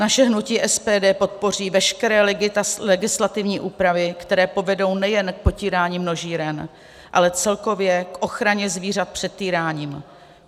Naše hnutí SPD podpoří veškeré legislativní úpravy, které povedou nejen k potírání množíren, ale celkově k ochraně zvířat před týráním.